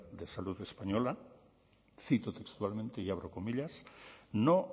de salud española cito textualmente no